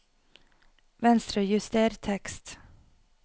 Venstrejuster tekst